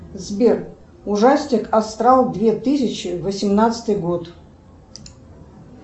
сбер ужастик астрал две тысячи восемнадцатый год